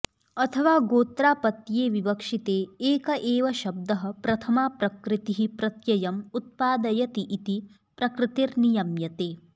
अथवा गोत्रापत्ये विवक्षिते एक एव शब्दः प्रथमा प्रकृतिः प्रत्ययम् उत्पादयति इति प्रकृतिर् नियम्यते